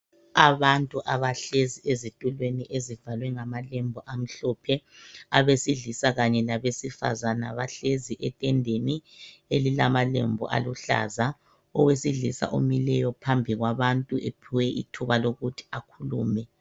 Abantu abahlezi ezitulweni ezivalwe ngamalembu amhlophe. Abesilisa kanye labesifazana bahlezi etendeni elilamalembu aluhlaza .Owesilisa omileyo phambi kwabantu ephiwe ithuba lokuthi akhulume.